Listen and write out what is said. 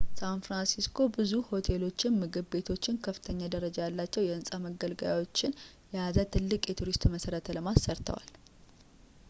ሳንፍራንሲስኮ ብዙ ሆቴሎችን ምግብ ቤቶችንና ከፍተኛ ደረጃ ያላቸው የሕንፃ መገልገያዎችን የያዘ ትልቅ የቱሪስት መሠረተ ልማት ሰርተዋል